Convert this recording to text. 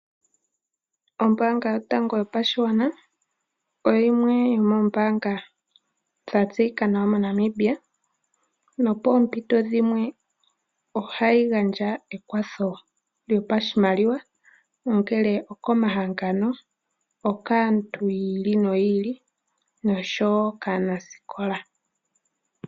Ombaanga yotango yopashigwana oyo yimwe yo moombaanga dha tseyika nawa mo Namibia. No poompito dhimwe ohayi gandja ekwatho lyo pashimaliwa, ongele oko mahangano, okaantu yi ili noyi ili noshowo kaanasikola.